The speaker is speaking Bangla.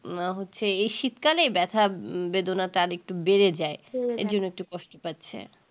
না হচ্ছে এই শীতকালে ব্যাথা বেদনাটা আরেকটু বেড়ে যায় এর জন্য একটু কষ্ট পাচ্ছে